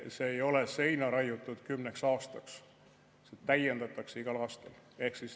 See ei ole seina raiutud kümneks aastaks, seda täiendatakse igal aastal.